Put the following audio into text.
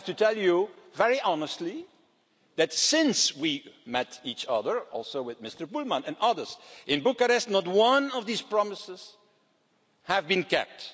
I have to tell you, very honestly, that since we met each other, with Mr Bullmann and others in Bucharest, not one of these promises has been kept.